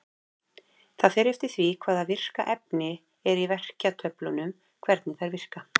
Það fer eftir því hvaða virka efni er í verkjatöflunum hvernig þær vinna.